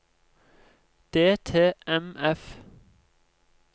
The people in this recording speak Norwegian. DTMF